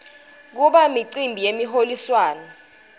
kuba imicimbi yemiholiswano